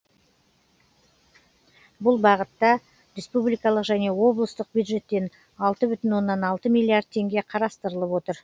бұл бағытта республикалық және облыстық бюджеттен алты бүтін оннан алты миллиард теңге қарастырылып отыр